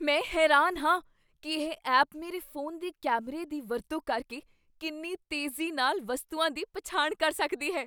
ਮੈਂ ਹੈਰਾਨ ਹਾਂ ਕੀ ਇਹ ਐਪ ਮੇਰੇ ਫੋਨ ਦੇ ਕੈਮਰੇ ਦੀ ਵਰਤੋਂ ਕਰਕੇ ਕਿੰਨੀ ਤੇਜ਼ੀ ਨਾਲ ਵਸਤੂਆਂ ਦੀ ਪਛਾਣ ਕਰ ਸਕਦੀ ਹੈ।